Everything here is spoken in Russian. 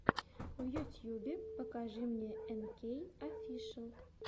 в ютьюбе покажи мне энкей офишиал